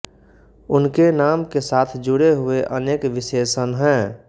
उनके नाम के साथ जुडे हुए अनेक विशेषण हैं